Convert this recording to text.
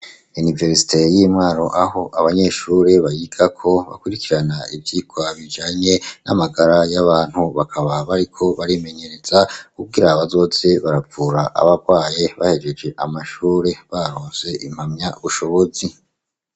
Universite y'i Mwaro, aho abanyeshuri bayigako, bakurikirana ivyirwa bijanye n'amagara y'abantu, bakaba bariko barimenyereza kugira bazoze baravura abarwaye, bahejeje amashure baronse impamya bushobozi.